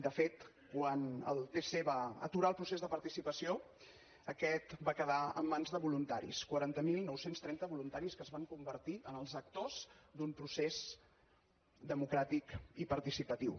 de fet quan el tc va aturar el procés de participació aquest va quedar en mans de voluntaris quaranta mil nou cents i trenta voluntaris que es van convertir en els actors d’un procés democràtic i participatiu